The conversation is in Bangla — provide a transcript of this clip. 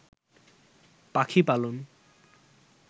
পাখি পালন